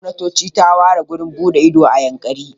Gwamnatoci ta ware wurin buɗe ido a Yankari.